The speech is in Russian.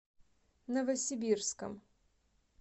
новосибирском